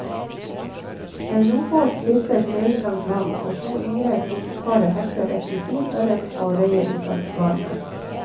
En robåt krysser speilblankt vann, og to yngre skogskarer hekter et dusin ørret og røye ut av garnene.